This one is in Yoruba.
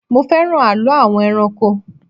Mo fẹ́ràn àlọ́ àwọn ẹranko